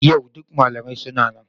Yau duk malamai suna nan?